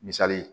Misali ye